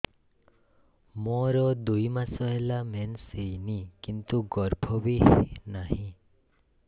ମୋର ଦୁଇ ମାସ ହେଲା ମେନ୍ସ ହେଇନି କିନ୍ତୁ ଗର୍ଭ ବି ନାହିଁ